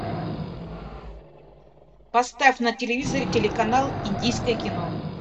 поставь на телевизоре телеканал индийское кино